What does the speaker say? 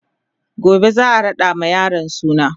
gobe zaa raɗa ma yaron suna